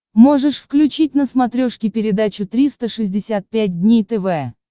можешь включить на смотрешке передачу триста шестьдесят пять дней тв